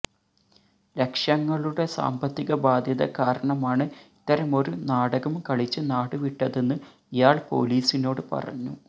ലക്ഷങ്ങളുടെ സാമ്പത്തിക ബാധ്യത കാരണമാണ് ഇത്തരമൊരു നാടകം കളിച്ച് നാടുവിട്ടതെന്ന് ഇയാൾ പോലീസിനോട് പറഞ്ഞു